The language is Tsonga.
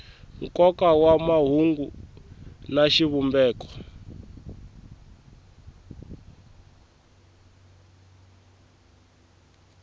nkoka wa mahungu na xivumbeko